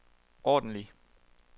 ordentlig